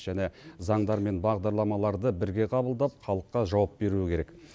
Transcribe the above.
және заңдар мен бағдарламаларды бірге қабылдап халыққа жауап беруі керек